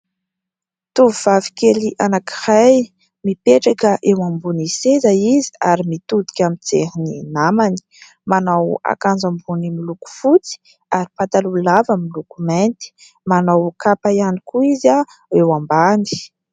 Tovovavy kely anakiray mipetraka eo ambony seza izy ary mitodika mijery ny namany. Manao akanjo ambony miloko fotsy ary pataloha lava amin'ny loko mainty. Manao kapa ihany koa izy eo ambany.